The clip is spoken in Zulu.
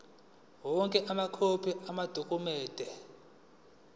onke amakhophi amadokhumende